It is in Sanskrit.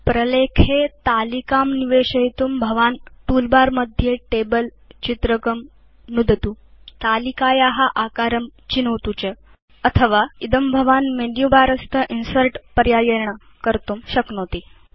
प्रलेखे तालिकां निवेशयितुं भवान् तूल बर मध्ये टेबल चित्रकं नुदतुतालिकाया आकारं चिनोतु च अथवा इदं भवान् मेनुबर स्थ इन्सर्ट् पर्यायेण कर्तुं शक्नोति